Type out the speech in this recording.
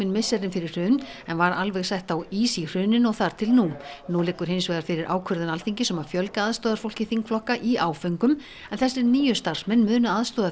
misserin fyrir hrun en var alveg sett á ís í hruninu og þar til nú nú liggur hins vegar fyrir ákvörðun Alþingis um að fjölga aðstoðarfólki þingflokka í áföngum en þessir nýju starfsmenn munu aðstoða